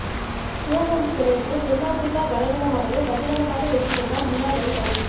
சுழற்பந்து விடயத்தில் தென்னாபிரிக்கா பலவீனமானது பகிரங்கமாக ஏற்றுக்கொண்டார் முன்னாள் வீரர் கலீஸ்